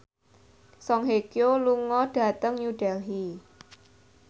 Song Hye Kyo lunga dhateng New Delhi